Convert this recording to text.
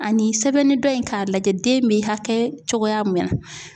Ani sɛbɛnni dɔ in k'a lajɛ den bɛ hakɛ cogoya min na.